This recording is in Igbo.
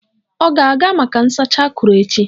Ọ ga-aga maka nsacha akụrụ echi?